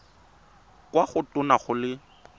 kwa go tona go le